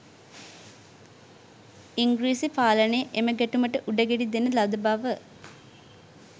ඉංග්‍රීසි පාලනය එම ගැටුමට උඩගෙඩි දෙන ලද බව